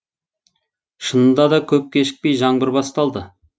шынында да көп кешікпей жаңбыр басталды